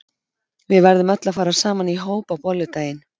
Við verðum öll að fara saman í hóp á bolludaginn.